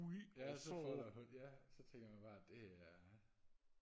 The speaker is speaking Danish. ja så folder hun ja så tænker man bare det er